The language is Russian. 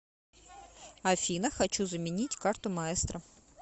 афина хочу заменить карту маестро